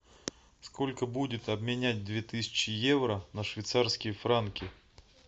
сколько будет обменять две тысячи евро на швейцарские франки